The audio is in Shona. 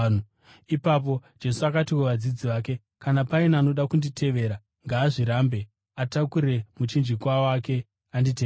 Ipapo Jesu akati kuvadzidzi vake, “Kana paine anoda kunditevera, ngaazvirambe, atakure muchinjikwa wake, anditevere.